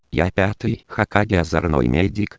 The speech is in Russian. я хокаге озорной